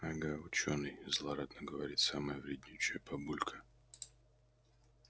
ага учёный злорадно говорит самая вреднючая бабулька